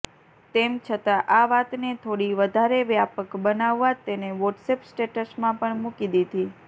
તેમ છતાં આ વાતને થોડી વધારે વ્યાપક બનાવવા તેને વોટ્સએપ સ્ટેટસમાં પણ મૂકી દીધી